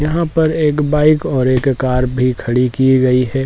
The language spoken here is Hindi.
यहां पर एक बाइक और एक कर भी खड़ी की गई है।